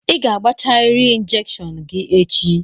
Ị ga-agbachariri injekshion gị echi!